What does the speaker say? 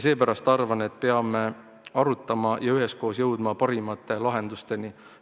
Seepärast arvan, et peame arutama ja üheskoos jõudma parimate lahendusteni.